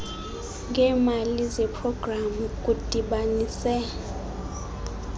ngeemali zeprogramu kudibanise